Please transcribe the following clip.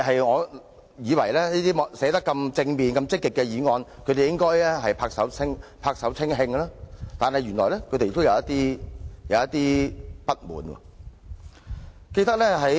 我以為對於內容這麼正面和積極的議案，他們應會拍手稱慶，但原來他們仍有一些不滿。